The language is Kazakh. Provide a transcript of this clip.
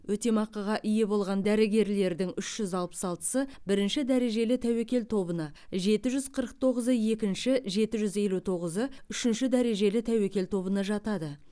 өтемақыға ие болған дәрігерлердің үш жүз алпыс алтысы бірінші дәрежелі тәуекел тобына жеті жүз қырық тоғызы екінші жеті жүз елу тоғызы үшінші дәрежелі тәуекел тобына жатады